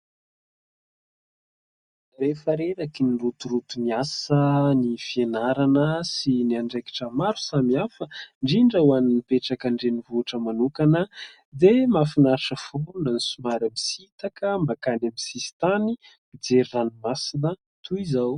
Rehefa rerakin'ny rotoroton'ny asa, ny fianarana sy ny andraikitra maro samihafa indrindra ho an'ny mipetraka andrenivohitra manokana dia mahafinaritra foana ny somary misitaka mankany amin'ny sisitany mijery ranomasina toy izao.